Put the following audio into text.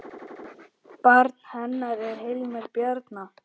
Barn hennar er Hilmir Bjarni.